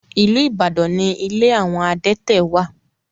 Ìlú Ibadan ní ilé àwọn adẹ́tẹ̀ wà.